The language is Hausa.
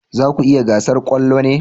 Za ku yi gasar kwallo ne?